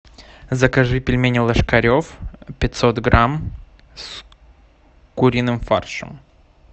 закажи пельмени ложкарев пятьсот грамм с куриным фаршем